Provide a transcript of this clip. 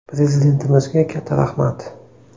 Prezidentimizga katta rahmat.